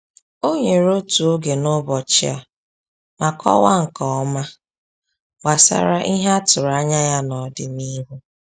O nyere otu oge n’ụbọchị a ma kọwaa nke ọma gbasara ihe a tụrụ anya ya n’ọdịnihu.